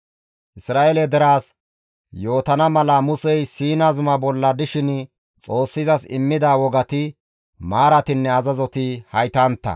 Isra7eele deraas yootana mala Musey Siina zumaa bolla dishin Xoossi izas immida wogati, maaratinne azazoti haytantta.